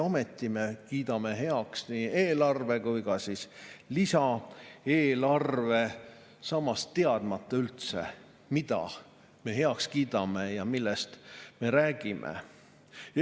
Ometi me kiidame heaks nii eelarve kui ka eelarve, teadmata üldse, mida me heaks kiidame ja millest me räägime.